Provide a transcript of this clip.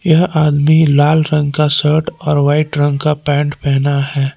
यह आदमी लाल रंग का शर्ट और वाइट रंग का पेंट पहना है।